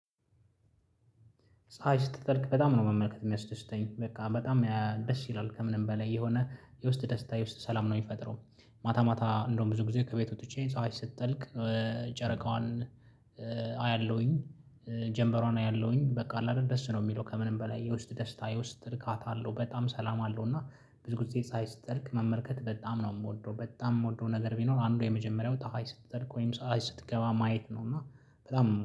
ፀሀይ ስትጠልቅ በጣም ነው መመልከት የሚያስደስተኝ በቃ በጣም ደስ ይላል ከምንም በላይ የሆነ የውስጥ ደስታ የውስጥ ሰላም ነው የሚፈጥረው። ማታ ማታ እንደውም ብዙ ጊዜ ከቤት ወጥቼ ፀሀይ ስትጠልቅ ጨረቃዋን አያለሁኝ ጀምበሯን አያለሁኝ። በቃ አለ አደል ደስ ነው የሚለው ከምንም በላይ የውስጥ ደስታ የውስጥ እርካታ አለው በጣም ሰላም አለው። እና ብዙ ጊዜ ፀሀይ ስትጠልቅ መመልከት በጣም ነው የምወደው። በጣም የምወደው ነገር ቢኖር አንዱ የመጀመሪያው ፀሀይ ስትጠልቀው ወይም ፀሀይ ስትገባ ማየት ነው እና በጣም